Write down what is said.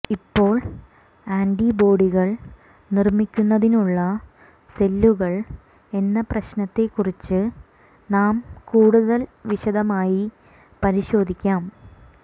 ഇപ്പോൾ ആൻറിബോഡികൾ നിർമ്മിക്കുന്നതിനുള്ള സെല്ലുകൾ എന്ന പ്രശ്നത്തെക്കുറിച്ച് നാം കൂടുതൽ വിശദമായി പരിശോധിക്കാം